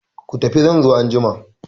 Ku tafi zan zo anjima!